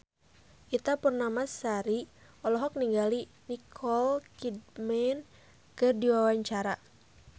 Ita Purnamasari olohok ningali Nicole Kidman keur diwawancara